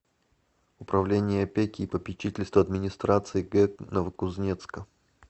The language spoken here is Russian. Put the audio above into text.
управление опеки и попечительства администрации г новокузнецка